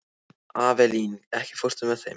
Avelín, ekki fórstu með þeim?